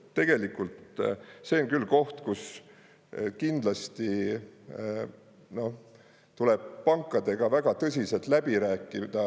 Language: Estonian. Tegelikult see on küll koht, kus kindlasti tuleb pankadega väga tõsiselt läbi rääkida.